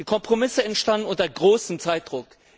Die Kompromisse entstanden unter großem Zeitdruck.